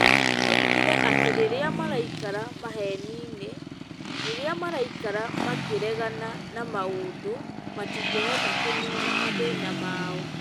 Oigire atĩ rĩrĩa maraikara maheni-inĩ, rĩrĩa maraikara makĩregana na maũndũ, matingĩhota kũniina mathĩna mao.